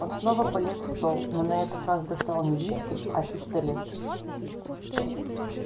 он снова полез в стол но на этот раз достал не виски а пистолет